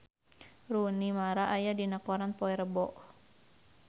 Rooney Mara aya dina koran poe Rebo